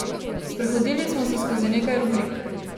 Sprehodili smo se skozi nekaj rubrik.